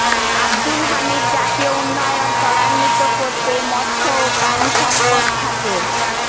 আবদুল হামিদ জাতীয় উন্নয়ন ত্বরান্বিত করতে মৎস্য ও প্রাণিসম্পদ খাতের